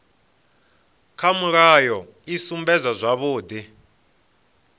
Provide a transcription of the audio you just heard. kha mulayo i sumbedza zwavhudi